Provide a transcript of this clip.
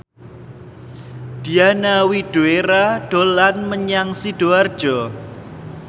Diana Widoera dolan menyang Sidoarjo